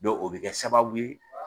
o bɛ kɛ sababu ye